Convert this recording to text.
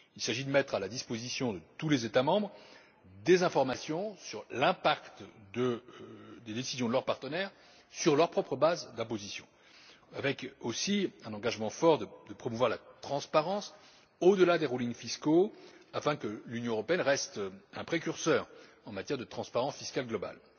Il s'agit de mettre à la disposition de tous les États membres des informations sur l'impact des décisions de leurs partenaires sur leur propre base d'imposition, ce qui va de pair avec un engagement consistant à promouvoir la transparence, au delà des rescrits fiscaux, afin que l'Union européenne reste un précurseur en matière de transparence fiscale globale.